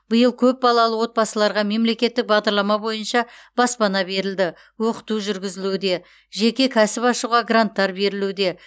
биыл көп балалы отбасыларға мемлекеттік бағдарлама бойынша баспана берілді оқыту жүргізілуде жеке кәсіп ашуға гранттар берілуде